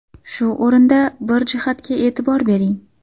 Shu o‘rinda bir jihatga e’tibor bering.